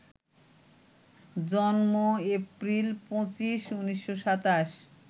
জন্ম এপ্রিল ২৫, ১৯২৭